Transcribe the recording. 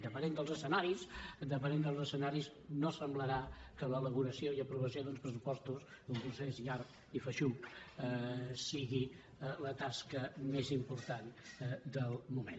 depenent dels escenaris no semblarà que l’elaboració i aprovació d’uns pressupostos un procés llarg i feixuc sigui la tasca més important del moment